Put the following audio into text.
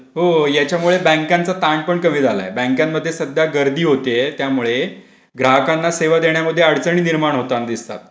हो याच्यामुळे बँकांचा ताण पण कमी झालाय बँकेमध्ये सध्या गर्दी होते त्यामुळे ग्राहकांना सेवा देण्यामध्ये अडचणी निर्माण होताना दिसतात.